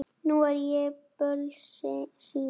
Nú er ég bölsýn.